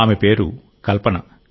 ఆమె పేరు కల్పన